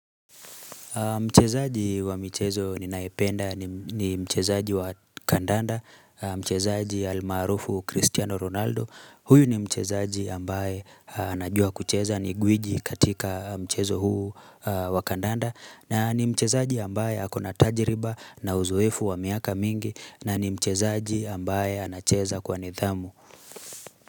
Mchezaaji wa mchezo ninaependa ni mchezaji wa kandanda, mchezaji almaarufu Cristiano Ronaldo, huyu ni mchezaji ambaye anajua kucheza ni gwiji katika mchezo huu wa kandanda na ni mchezaji ambaye akona tajiriba na uzoefu wa miaka mingi na ni mchezaji ambaye anacheza kwa nidhamu.